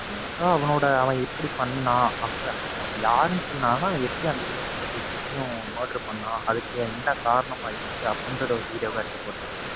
so அவனோட அவன் எப்படி பண்ணான், அப்பற~ அவன யாருன்னு சொல்லாம அவன் எப்படி முப்பத்தெட்டுத்துயும் murder பண்ணான், அதுக்கு என்ன காரணமா இருந்துச்சு அப்படிங்கிறத ஒரு video வா எடுத்து போட்ருக்கேன்.